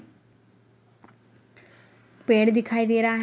पेड़ दिखाई दे रहा --